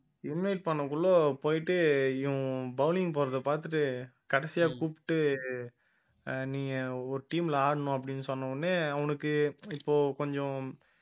invite பண்ணக்குள்ள போயிட்டு இவன் bowling போடறதை பார்த்துட்டு கடைசியா கூப்பிட்டு அஹ் நீங்க ஒரு team ல ஆடணும் அப்படின்னு சொன்ன உடனே அவனுக்கு இப்போ கொஞ்சம்